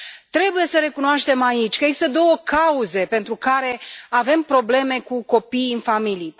Trebuie să recunoaștem aici că există două cauze pentru care avem probleme cu copiii în familii.